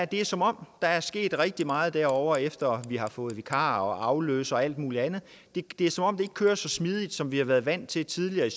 det er som om der er sket rigtig meget derovre efter at vi har fået vikar afløser og alt muligt andet det er som om det ikke kører så smidigt som vi har været vant til tidligere